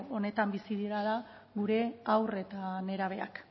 onetan bizi direla gure haur eta nerabeak